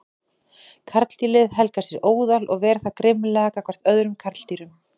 Karldýrið helgar sér óðal og ver það grimmilega gagnvart öðrum karldýrum.